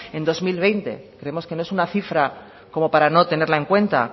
en dos mil veinte creemos que no es una cifra como para no tenerla en cuenta